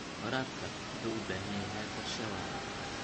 Waraabka wuxuu u baahan yahay qorshe waara.